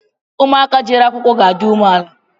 Ụmụ aka jere akwụkwọ ga-adi ume ala